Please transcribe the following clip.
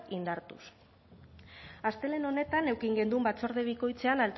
indartuz astelehen honetan eduki genuen batzorde bikoitzean